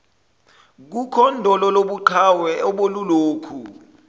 kokhondolo lobuqhawe obelulokhu